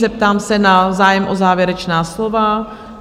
Zeptám se na zájem o závěrečná slova?